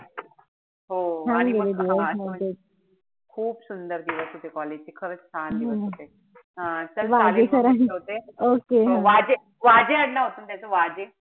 हो आणि मग खूप सुंदर दिवस होते college चे खरंच छान होते. हा चल चालेल म मी ठेवते. हा वाजे वाजे आडनाव होत ना त्याचा वाजे?